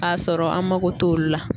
K'a sɔrɔ an mako t'olu la